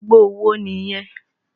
Àgbo wo nìyẹn?